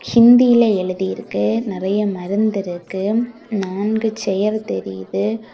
ஹிந்தில எழுதி இருக்கு நெறைய மருந்து இருக்கு நான்கு சேரு தெரியுது.